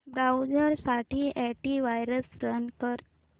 browser साठी antivirus run कर